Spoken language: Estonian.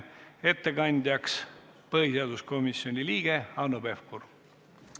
Ettekandja on põhiseaduskomisjoni liige Hanno Pevkur.